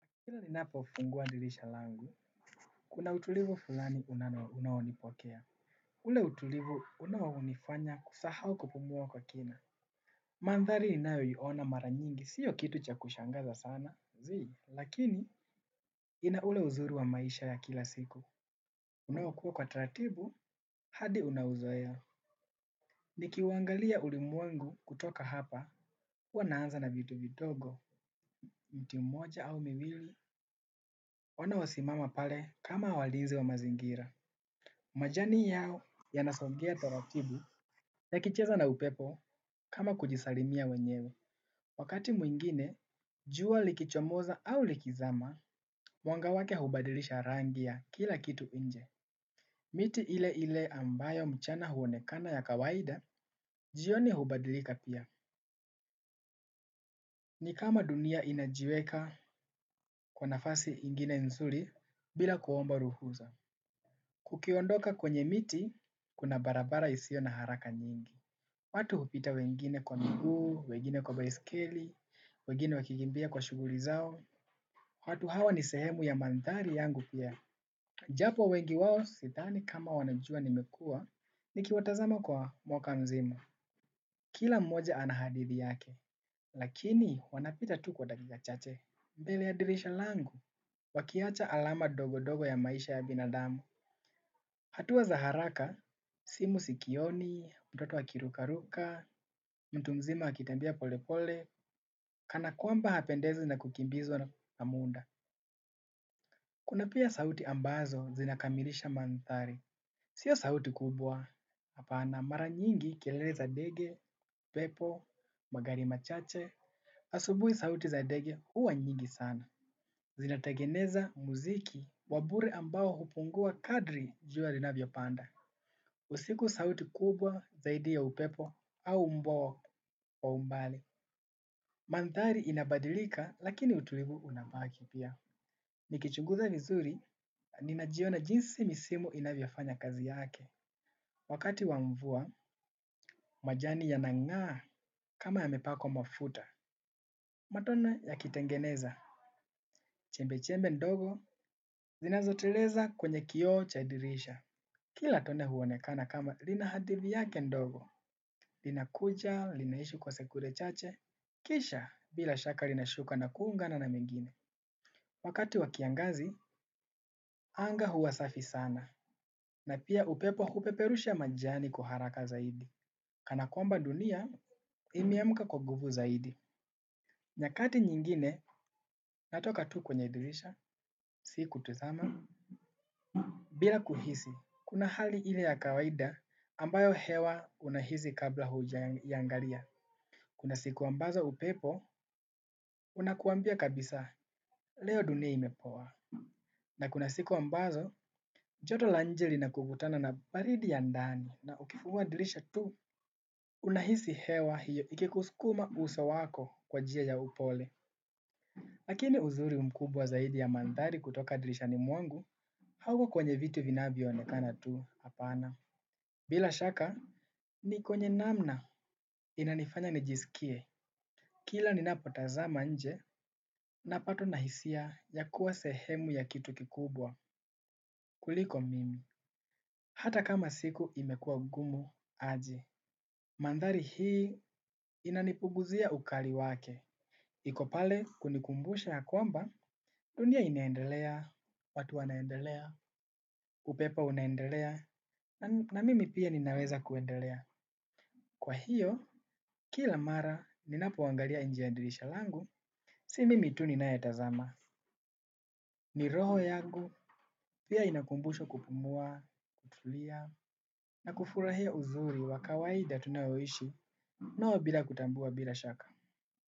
Kila ninapo fungua dirisha langu kuna utulivu fulani unaonipokea. Ule utulivu unao hunifanya kusahau kupumua kwa kina. Mandhari inayo iona mara nyingi sio kitu cha kushangaza sana. Zii, lakini ina ule uzuri wa maisha ya kila siku. Unao kuwa kwa taratibu, hadi unauzoea. Nikiwangalia ulimwengu kutoka hapa, huwa naanza na vitu vidogo. Mti mmoja au miwili. Ona wasimama pale kama walinzi wa mazingira. Majani yao yanasongea taratibu ya kicheza na upepo kama kujisalimia wenyewe. Wakati mwingine, jua likichomoza au likizama, mwanga wake hubadilisha rangi ya kila kitu inje. Miti ile ile ambayo mchana huonekana ya kawaida, jioni hubadilika pia. Ni kama dunia inajiweka kwa nafasi ingine nzuri bila kuomba ruhusa. Ukiondoka kwenye miti, kuna barabara isio na haraka nyingi. Watu hupita wengine kwa miguu, wengine kwa baiskeli, wengine wakikimbia kwa shughuli zao, watu hawa ni sehemu ya mandhari yangu pia. Japo wengi wao sidhani kama wanajua nimekuwa nikiwatazama kwa mwaka mzima. Kila mmoja ana hadithi yake, lakini wanapita tu kwa dakika chache. Mbele ya dirisha langu, wakiacha alama dogo dogo ya maisha ya binadamu. Hatuwa za haraka, simu sikioni, mtoto akiruka ruka, mtu mzima akitembea pole pole, kana kwamba hapendezwi na kukimbizwa na muda. Kuna pia sauti ambazo zinakamilisha mandhari. Sio sauti kubwa apana, mara nyingi kelele za ndege, upepo, magari machache. Asubuhi sauti za ndege huwa nyingi sana. Zinategeneza muziki wa bure ambao hupungua kadri jua linavyo panda. Usiku sauti kubwa zaidi ya upepo au mbwa wa umbali. Mandhari inabadilika lakini utulivu unabaki pia. Nikichunguza vizuri, ninajiona jinsi misimu inavyofanya kazi yake. Wakati wa mvua, majani yanangaa kama yamepakwa mafuta. Matone ya kitengeneza, chembe chembe ndogo, zinazoteleza kwenye kioo cha dirisha. Kila tone huonekana kama lina hadithi yake ndogo, linakuja, linaishi kwa sekunde chache, kisha bila shaka linashuka na kuungana na mengine. Wakati wa kiangazi, anga huwa safi sana, na pia upepo hupeperusha majani kwa haraka zaidi, kana kwamba dunia imeamka kwa nguvu zaidi. Nyakati nyingine, natoka tu kwenye dirisha, siku tazama, bila kuhisi. Kuna hali ile ya kawaida ambayo hewa unahisi kabla huja iangalia. Kuna siku ambazo upepo, unakwambia kabisa, leo dunia imepoa. Na kuna siku ambazo, joto la inje lina kokutana na baridi ya ndani na ukifunga dirisha tu, unahisi hewa hiyo ikikuskuma usa wako kwa njia ya upole. Lakini uzuri mkubwa zaidi ya mandhari kutoka dirishani mwangu hauko kwenye vitu vinavyo onekana tu apana. Bila shaka ni kwenye namna inanifanya nijisikie kila ninapotazama inje na patwa na hisia ya kuwa sehemu ya kitu kikubwa kuliko mimi. Hata kama siku imekuwa ngumu aje mandhari hii inanipunguzia ukali wake. Iko pale kunikumbusha ya kwamba, dunia inaendelea, watu wanaendelea, upepo unaendelea, na mimi pia ninaweza kuendelea. Kwa hiyo, kila mara ninapoangalia inje ya dirisha langu, si mimi tu ninayetazama. Ni roho yangu, pia inakumbushwa kupumua, kutulia, na kufurahia uzuri wa kawaida tunaoishi, noo bila kutambua bila shaka.